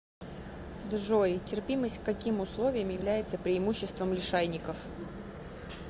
джой терпимость к каким условиям является преимуществом лишайников